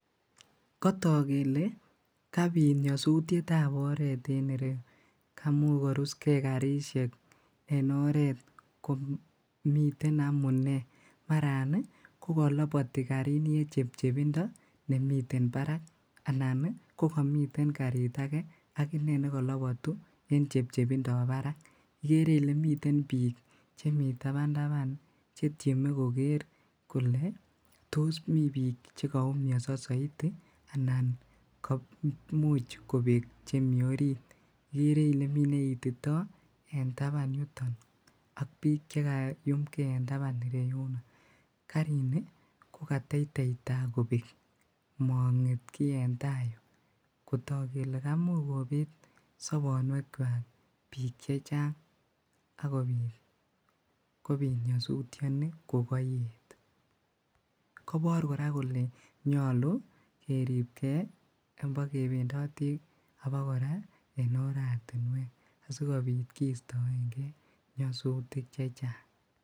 Kotok kele kabit nyosutyetab oret en ireyu kamuch korusgee karisiek en oret komiten amunee maran ih kokoloboti karini en chepchepindo nemiten barak anan ih kokimiten karit ake akinee nekolobotu en chepchepindab barak, ikere ile miten biik chemi taban taban chetyeme koker kole tos mii biik chekoumionso soiti anan ko imuch kobek chemii orit, ikere ile mi neitito en taban yuton ak biik chekayumgee en taban ireyuno, karini kokateitei taa kobek monget kiy eng taa yuu kotok kele kamuch kobet sobonwek kwak biik chechang akobit kobit nyosutyoni kokoeet kobor kora kole nyolu keribgee yombo kebendotii abakora en oratinwek asikobit kistoengee nyosutik chechang